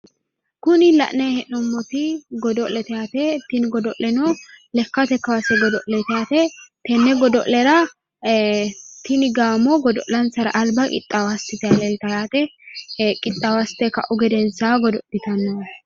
Kuni la'nayi hee'noommoti godo'lete yaate tini gido'leno lekkate kaase godo'leeti yaate tenne godo'lera tini gaamo godo'lansara albaqixxaawo assitayi leeltanno yaate qixxaawo assite ka'uhu gedensaanni godo'litanno yaate